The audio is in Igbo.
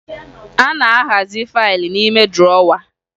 A na-ahazi faaịlụ n'ime drọwa